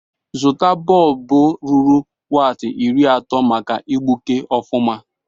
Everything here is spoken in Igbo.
Zụta bọlbụ ruru waati iri atọ maka igbuke ọfụma.